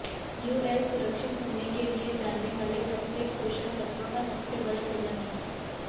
UL सुरक्षित होने के लिए जाने वाले प्रत्येक पोषक तत्व का सबसे बड़ा सेवन है